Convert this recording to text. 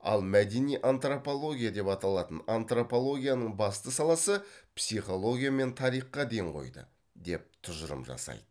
ал мәдени антропология деп аталатын антропологияның басты саласы психология мен тарихқа ден қойды деп тұжырым жасайды